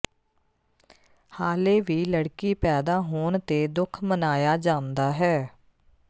ਹਾਲੇ ਵੀ ਲੜਕੀ ਪੈਦਾ ਹੋਣ ਤੇ ਦੁਖ ਮਨਾਇਆ ਜਾਂਦਾ ਹੈ